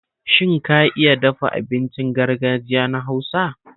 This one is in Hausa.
Shin ka iya dafa abincin gargajiya na Hausa?